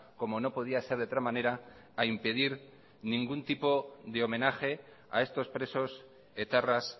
como no podía ser de otra manera a impedir ningún tipo de homenaje a estos presos etarras